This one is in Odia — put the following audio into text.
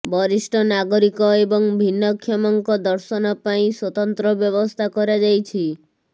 ବରିଷ୍ଠ ନାଗରିକ ଏବଂ ଭିନ୍ନକ୍ଷମଙ୍କ ଦର୍ଶନ ପାଇଁ ସ୍ବତନ୍ତ୍ର ବ୍ୟବସ୍ଥା କରାଯାଇଛି